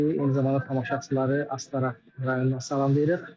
Sizi eyni zamanda tamaşaçıları Astara rayonundan salamlayırıq.